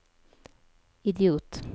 idiot